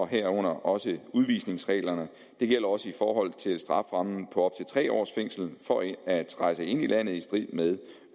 herunder også udvisningsreglerne det gælder også i forhold til strafferammen på op tre års fængsel for at rejse ind i landet i strid med